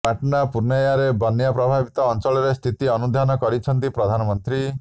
ପାଟଣା ପୂର୍ଣ୍ଣିୟାରେ ବନ୍ୟା ପ୍ରଭାବିତ ଅଂଚଳରେ ସ୍ଥିତି ଅନୁଧ୍ୟାନ କରିଛନ୍ତି ପ୍ରଧାନମନ୍ତ୍ରୀ